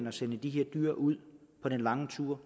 at sende de her dyr ud på de lange ture